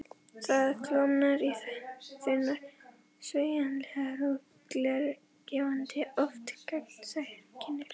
Það klofnar í þunnar, sveigjanlegar, glergljáandi, oft gagnsæjar þynnur.